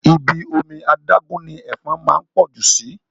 Ibi omi adágún ni Ẹ̀fọn máa ń pọ̀ jù síí